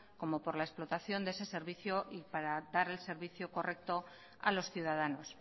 como por la explotación de ese servicio y para dar el servicio correcto a los ciudadanos